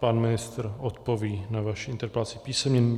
Pan ministr odpoví na vaši interpelaci písemně.